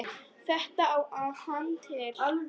Þetta átti hann til.